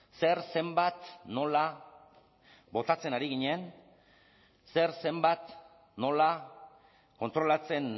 zer zenbat nola botatzen ari ginen zer zenbat nola kontrolatzen